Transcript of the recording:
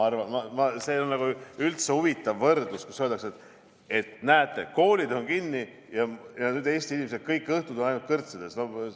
See on üldse huvitav võrdlus, kui öeldakse, et näete, koolid on kinni ja nüüd Eesti inimesed on kõik õhtud ainult kõrtsides.